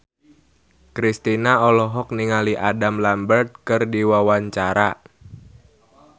Kristina olohok ningali Adam Lambert keur diwawancara